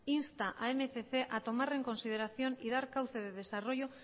insta a mil doscientos a tomar en consideración y dar cauce de desarrollo